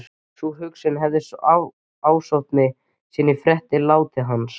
Sú hugsun hefur ásótt mig síðan ég frétti látið hans